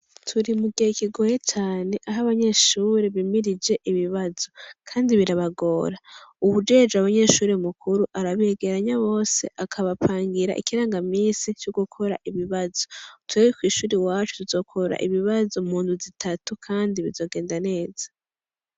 Turi mugihe kigoye cane aho abanyeshure bimirije ibibazo kandi birabagora, uwujejwe abanyeshuri mukuru arabegeranya bose, akabapangira ikirangamisi c'ugukora ibibazo, twe kwishure iwacu tuzokora ibibazo mundwi zitatu kandi bizogenda neza.